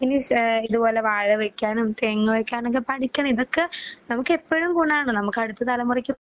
പിന്നെ മിസ് ഏഹ് ഇതുപോലെ വാഴ വയ്ക്കാനും തെങ്ങ് വയ്ക്കാനൊക്കെ പഠിക്കണം ഇതൊക്കെ നമുക്ക് എപ്പഴും ഗുണാണ്. നമുക്ക് അടുത്ത തലമുറയ്ക്കും